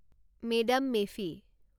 মে দাম মে ফী